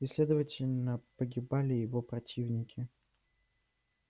и следовательно погибали его противники